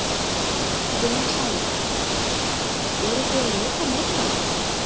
Sunna Sæmundsdóttir: Eruð þið á lokametrunum?